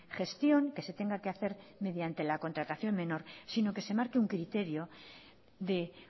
gestión que se tenga que hacer mediante la contratación menor sino que se marque un criterio de